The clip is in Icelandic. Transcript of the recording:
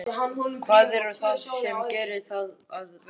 Hvað er það sem gerir það að verkum?